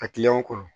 A kɔrɔ